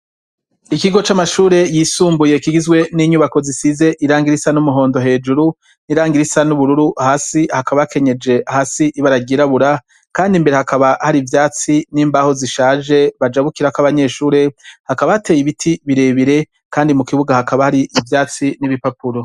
Ikigo c'amashure yisumbuye kigizwe n'inyubako zisize irangirisa n'umuhondo hejuru n'irangirisa n'ubururu hasi hakaba hakenyeje hasi ibaragirabura kandi imbere hakaba hari ivyatsi n'imbaho zishaje bajagukirako abanyeshure hakaba hateye ibiti birebire kandi mu kibuga hakaba hari ibyatsi n'ibipapuro.